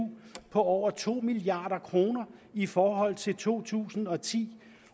på over to milliard kroner i forhold til to tusind og ti